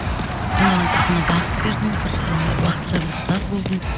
мен оған тек қана бағыт бердім бір уақытша бір ұстаз болдым